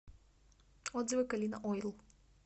отзывы калина ойл